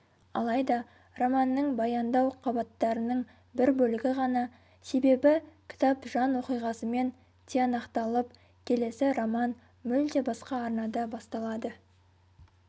алайда романның баяндау қабаттарының бір бөлігі ғана себебі кітап жан оқиғасымен тиянақталып келесі роман мүлде басқа арнада басталады